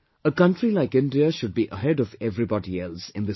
A country like India should be ahead of everybody else in this field